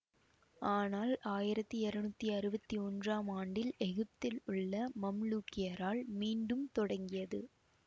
ஆனால் ஆயிரத்தி இருநூத்தி அறுவத்தி ஒன்றாம் ஆண்டில் எகிப்தில் உள்ள மம்லூக்கியரால் மீண்டும் தொடங்கியது